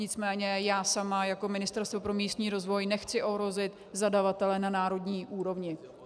Nicméně já sama jako Ministerstvo pro místní rozvoj nechci ohrozit zadavatele na národní úrovni.